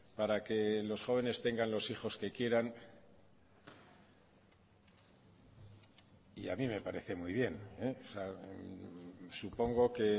para que los jóvenes tengan los hijos que quieran y a mí me parece muy bien supongo que